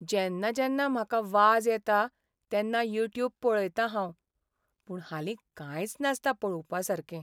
जेन्ना जेन्ना म्हाका वाज येता तेन्ना युट्यूब पळयतां हांव. पूण हालीं कांयच नासता पळोवपासारकें.